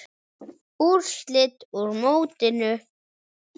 Úrslit úr mótinu